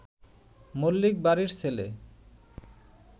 মল্লিক বাড়ির ছেলে